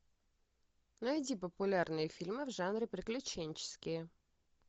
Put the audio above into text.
найди популярные фильмы в жанре приключенческие